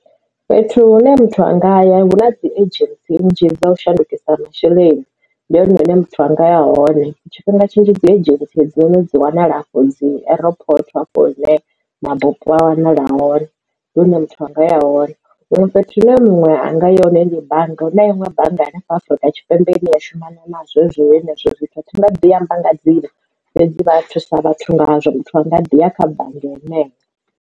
Fhethu hune muthu anga ya huna dzi agents nnzhi dza u shandukisa masheleni ndi hone hune muthu anga ya hone tshifhinga tshinzhi dzi agents hedzi noni dzi wanala afho dzi airport hafho hune mabupo a wanala hone muthu anga ya hone huṅwe fhethu hune muṅwe anga yone ndi bannga hu na iṅwe bannga hanefha Afrika Tshipembe ine ya shumana nazwezwo hezwo zwithu nga ḓi amba nga dzina fhedzi vha thusa vhathu ngazwo muthu anga ḓi ya kha bannga heneyo.